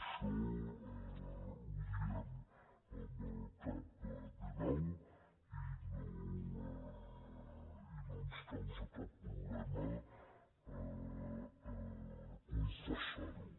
això ho diem amb el cap ben alt i no ens causa cap problema confessar·ho